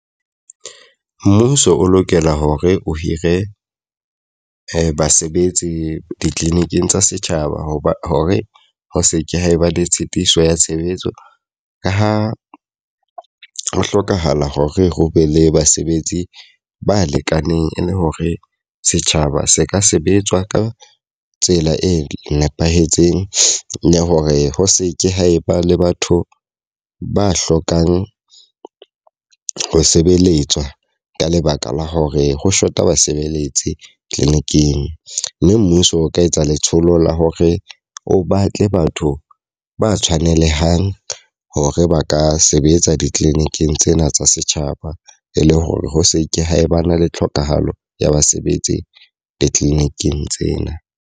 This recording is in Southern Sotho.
Mmuso o lokela hore o hire basebetsi di-clinic-ing tsa setjhaba. Ho ba hore ho seke ha e ba le tshitiso ya tshebetso ka ha ho hlokahala hore ho be le basebetsi ba lekaneng e le hore setjhaba se ka sebetswa ka tsela e nepahetseng. Le hore ho se ke ha e ba le batho ba hlokang ho sebeletswa ka lebaka la hore ho shota basebeletsi clinic-eng. Mme mmuso o ka etsa letsholo la hore o batle batho ba tshwanelehang hore ba ka sebetsa di-clinic-ing tsena tsa setjhaba. E le hore ho seke ha ba na le tlhokahalo ya ba sebetse di-clinic-ing tsena.